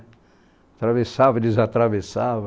Atravessava, desatravessava.